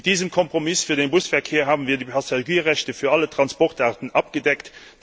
Mit diesem Kompromiss für den Busverkehr haben wir die Passagierrechte für alle Transportarten abgedeckt.